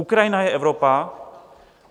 Ukrajina je Evropa.